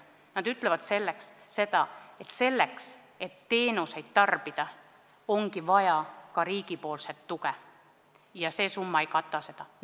Nad on öelnud, et teenuste tarbimiseks ongi vaja ka riigi tuge ja see summa ei kata seda.